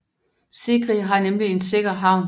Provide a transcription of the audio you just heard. Sigri har nemlig en sikker havn